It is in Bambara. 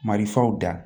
Marifaw da